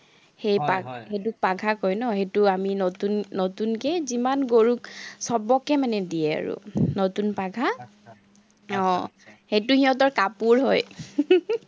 সেই পাঘা কয় ন, সেইটো আমি নতুনকে যিমান গৰুক চবকে মানে দিয়ে আৰু নতুন পাঘা আহ সেইটো সিহঁতৰ কাপোৰ হয়